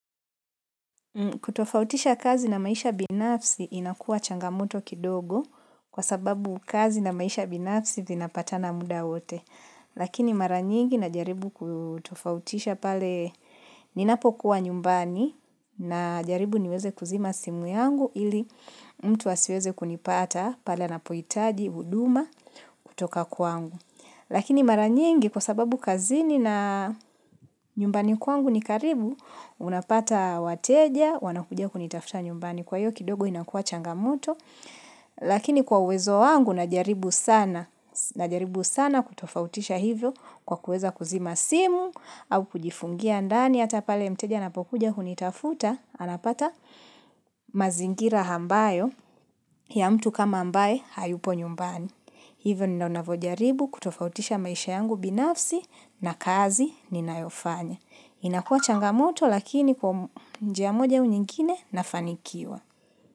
Kutofautisha kazi na maisha binafsi inakuwa changamoto kidogo kwa sababu kazi na maisha binafsi zinapata muda wote. Lakini maranyingi na jaribu kutofautisha pale ninapokuwa nyumbani na jaribu niweze kuzima simu yangu ili mtu asiweze kunipata pale na anapohitaji huduma kutoka kwangu. Lakini maranyingi kwa sababu kazini na nyumbani kwangu ni karibu, unapata wateja, wanakuja kunitafuta nyumbani. Kwa hiyo kidogo inakuwa changamoto. Lakini kwa uwezo wangu, najaribu sana kutofautisha hivyo kwa kuweza kuzima simu au kujifungia ndani. Hata pale mteja na anapokuja hunitafuta anapata mazingira ambayo ya mtu kama ambaye hayupo nyumbani. Hivyo ninavojaribu kutofautisha maisha yangu binafsi na kazi ninayofanya. Inakuwa changamoto lakini kwa njia moja au nyingine nafanikiwa.